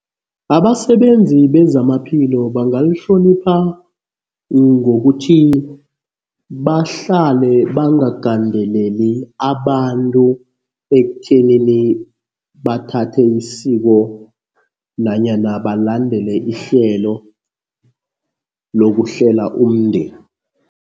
Abasebenzi bezamaphilo bangalihlonipha ngokuthi bahlale bangagandeleli abantu ekutheni bathathe isiko nanyana balandele ihlelo lokuhlela umndeni.